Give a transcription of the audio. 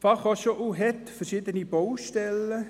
Die Berner Fachhochschule (BFH) hat verschiedene Baustellen.